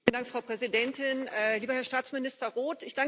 Frau Präsidentin, lieber Herr Staatsminister Roth!